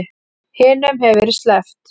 Hinum hefur verið sleppt